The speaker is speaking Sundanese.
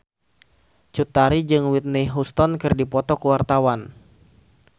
Cut Tari jeung Whitney Houston keur dipoto ku wartawan